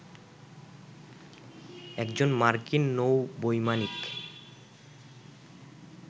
একজন মার্কিন নৌ বৈমানিক